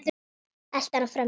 Eltir hana fram í eldhús.